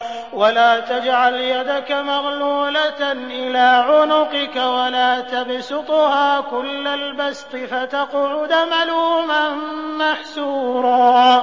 وَلَا تَجْعَلْ يَدَكَ مَغْلُولَةً إِلَىٰ عُنُقِكَ وَلَا تَبْسُطْهَا كُلَّ الْبَسْطِ فَتَقْعُدَ مَلُومًا مَّحْسُورًا